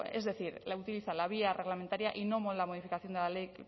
es decir utiliza la vía reglamentaria y no la modificación de la ley